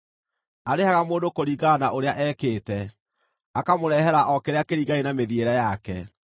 Arĩhaga mũndũ kũringana na ũrĩa ekĩte; akamũrehere o kĩrĩa kĩringaine na mĩthiĩre yake.